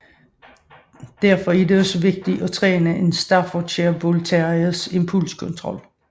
Derfor er det også vigtigt at træne en Staffordshire Bull Terriers impulskontrol